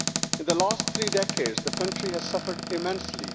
In the last three decades, the country has suffered immensely.